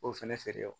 K'o fɛnɛ feere wa